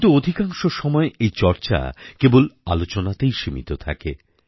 কিন্তু অধিকাংশ সময় এই চর্চা কেবল আলোচনাতেই সীমিত থাকে